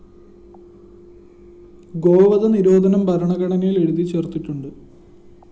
ഗോവധ നിരോധനം ഭരണഘടനയില്‍ എഴുതി ചേര്‍ത്തിട്ടുണ്ട്